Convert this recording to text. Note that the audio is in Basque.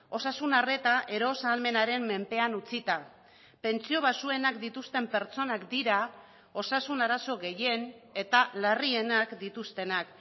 osasun arreta eros ahalmenaren menpean utzita pentsio baxuenak dituzten pertsonak dira osasun arazo gehien eta larrienak dituztenak